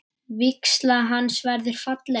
Vígsla hans verður falleg.